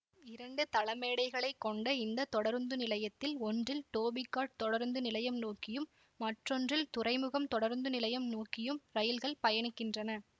இரண்டு தளமேடைகளை கொண்ட இந்த தொடருந்து நிலையத்தில் ஒன்றில் டோபி காட் தொடருந்து நிலையம் நோக்கியும் மற்றொன்றில் துறைமுகம் தொடருந்து நிலையம் நோக்கியும் ரயில்கள் பயணிக்கின்றன